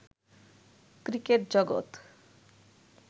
cricket জগত